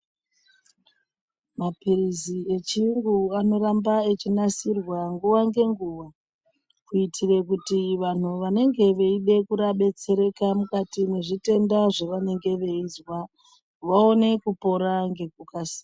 Mapirizi echiyungu anoramba achinasirwa nguwa ngenguwa kuitira kuti vantu vanenge vachida kudetsereka mukati nezvitenda zvavanenge veizwa vaone kupora ngekukasira.